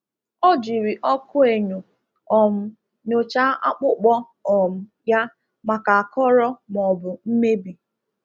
Ọ jiri ọkụ enyo um nyochaa akpụkpọ um ya maka akọrọ maọbụ mmebi.